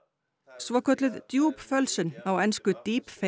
svokölluð á ensku